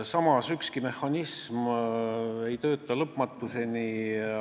Samas, ükski mehhanism ei tööta lõpmatuseni.